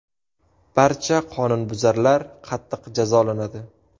Barcha qonunbuzarlar qattiq jazolanadi.